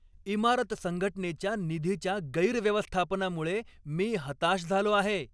इमारत संघटनेच्या निधीच्या गैरव्यवस्थापनामुळे मी हताश झालो आहे.